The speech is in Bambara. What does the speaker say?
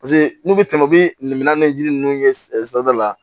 Paseke n'u bɛ tɛmɛ u bɛ minan ni yiriden ninnu ye sanfɛla la